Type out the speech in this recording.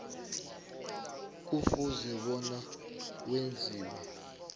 kufuze bona wenziwe